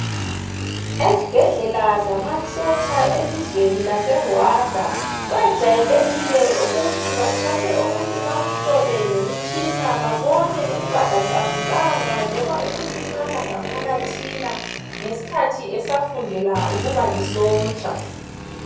Ezibhedlela zamasotsha elizweni laseRwanda, kwejayelekile ukuthi bathathe umuntu bamhlole ngemitshina ,babone ukuba kaqamukanga loba ukulimala ngaphakathina ngesikhathi esafundela ukuba lisotsha.